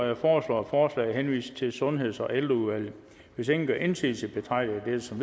jeg foreslår at forslaget henvises til sundheds og ældreudvalget hvis ingen gør indsigelse betragter jeg dette som